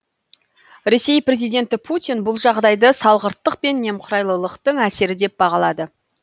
ресей президенті путин бұл жағдайды салғырттық пен немқұрайлылықтың әсері деп бағалады